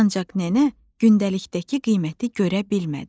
Ancaq nənə gündəlikdəki qiyməti görə bilmədi.